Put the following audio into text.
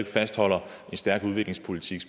fastholder en stærk udviklingspolitik